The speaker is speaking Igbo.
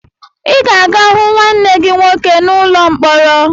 Ị ga-aga hụ nwanne gị nwoke n'ụlọ mkpọrọ!